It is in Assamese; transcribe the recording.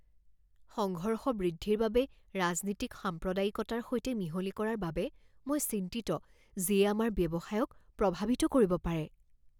সংঘৰ্ষ বৃদ্ধিৰ বাবে ৰাজনীতিক সাম্প্ৰদায়িকতাৰ সৈতে মিহলি কৰাৰ বাবে মই চিন্তিত যিয়ে আমাৰ ব্যৱসায়ক প্ৰভাৱিত কৰিব পাৰে।